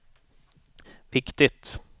viktigt